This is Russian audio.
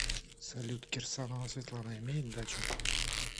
салют кирсанова светлана имеет дачу